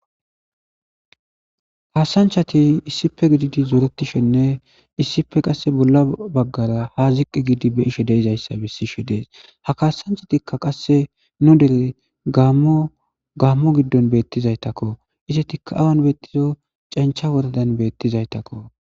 kaasanchati issipe gididi zuretishenne issipe qasse bolla baggara ha ziqqi giidi be'ishe deizayssa bissishe dees ha kaasanchatikka qasse nu dere gaammo gaammo giddon beettizaytakko isetikka awan beettizo cancha wordan beettizaytakko